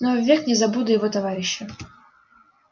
но ввек не забуду его товарища